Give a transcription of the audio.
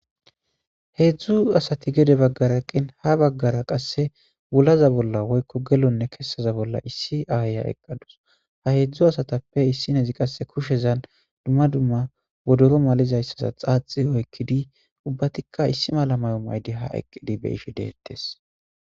Heedzdzu asati gede baggaraqqin ha baggara qasse bulaza bolla woykko gelonne kessaza bolla issi aaya eqqadus ha heedzdzu asatappe issinhezi qasse kushezan dumma dumma bodoro malizayssaza xaaxi oykkidi ubbatikka issi mala mayo maydi ha eqqidi be ishe deettes.